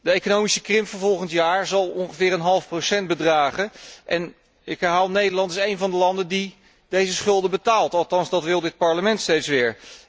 De economische krimp van volgend jaar zal ongeveer een half procent bedragen, en ik herhaal Nederland is een van de landen die deze schulden betaalt, althans dat wil dit Parlement steeds weer.